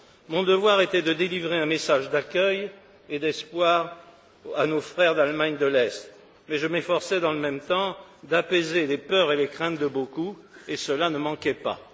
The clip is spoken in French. Mon devoir était de délivrer un message d'accueil et d'espoir à nos frères d'Allemagne de l'Est, mais je m'efforçais, dans le même temps, d'apaiser les peurs et les craintes de beaucoup et cela ne manquait pas.